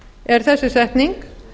er þessi setning